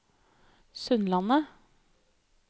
Sundlandet